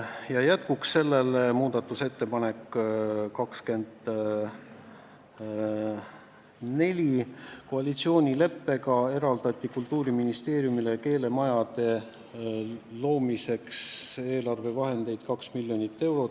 Ja jätkuks sellele, muudatusettepanek 24: koalitsioonileppega eraldati Kultuuriministeeriumile keelemajade loomiseks eelarvevahendeid 2 miljonit eurot.